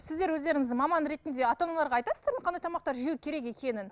сіздер өздеріңіз маман ретінде ата аналарға айтасыздар ма қандай тамақтар жеу керек екенін